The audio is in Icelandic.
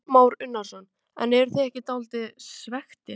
Kristján Már Unnarsson: En eruð þið ekki dálítið svekktir?